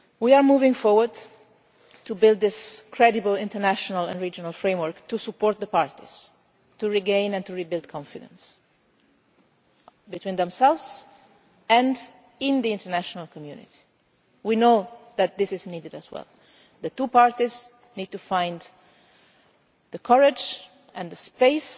We are moving forward to build this credible international and regional framework to support the parties and to regain and rebuild confidence between themselves and in the international community, for we know that this is needed as well. The two parties need to find the courage and